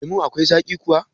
Lemun akwai zaƙi kuwa?